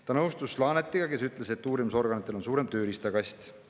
Ta nõustus Laanetiga, kes ütles, et uurimisorganitel on suurem tööriistakast.